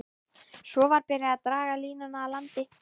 Svo var byrjað að draga línuna að landi.